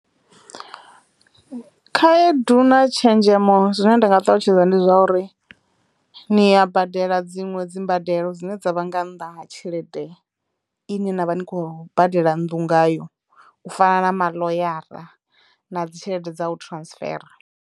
Khaedu na tshenzhemo zwine nda nga ṱalutshedza ndi zwa uri ni ya badela dziṅwe dzi mbadelo dzine dza vha nga nnḓa ha tshelede ine na vha ni khou badela nnḓu ngayo u fana na muḽoyara na dzi tshelede dza u transfera.